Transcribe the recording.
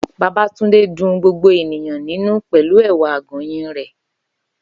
Babátúndé dun gbogbo ènìyàn nínú pẹ̀lú ẹ̀wà àgọ̀nyìn rẹ̀.